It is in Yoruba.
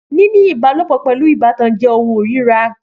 Níní ìbálòpọ̀ pẹ̀lú ìbátan jẹ́ ohun ìríra